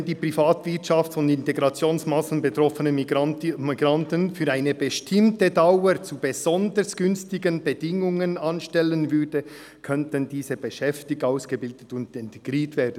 «Wenn die Privatwirtschaft von Integrationsmassnahmen betroffene Migrantinnen und Migranten für eine bestimmte Dauer zu besonders günstigen Bedingungen anstellen würde, könnten diese beschäftigt, ausgebildet und integriert werden.